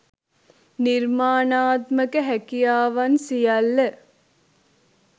නිර්මාණාත්මක හැකියාවන් සියල්ල